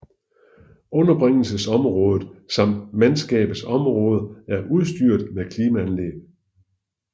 Underbringelsesområdet samt mandskabets områder er udstyret med klimaanlæg